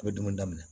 I bɛ dumuni daminɛ